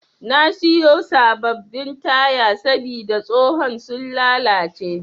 Na siya sabbabin taya sabida tsohon sun lallace.